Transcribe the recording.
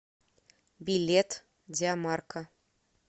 билет диамарка